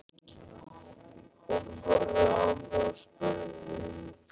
Hún horfði á mig og spurði